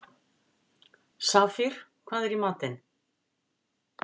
Safír, hvað er í matinn?